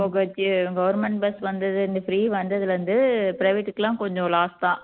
government bus வந்தது இந்த free வந்ததுல இருந்து private க்கு எல்லாம் கொஞ்சம் loss தான்